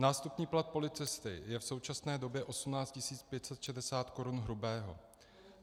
Nástupní plat policisty je v současné době 18 560 korun hrubého.